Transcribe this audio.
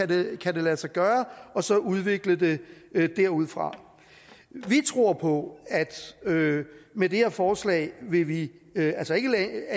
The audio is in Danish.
det kan lade sig gøre og så udvikle det derudfra vi tror på at med det her forslag vil vi